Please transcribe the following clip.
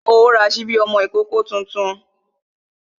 Ṣé o ra sípí ọmọ ìkókó tuntun?